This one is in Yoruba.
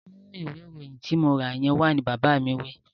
Mú ìwé ìròyìn tí mo rà yẹn wá! Bàbá mi wí